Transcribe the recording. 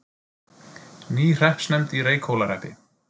Ný hreppsnefnd í Reykhólahreppi